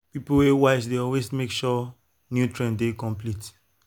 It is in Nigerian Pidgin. people wey wise dey always make sure nutrient dey complete.